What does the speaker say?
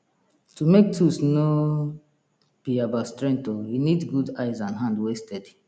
to make tools no be about strength oh e need good eyes and hand wey steady